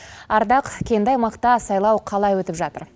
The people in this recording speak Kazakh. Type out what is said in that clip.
ардақ кенді аймақта сайлау қалай өтіп жатыр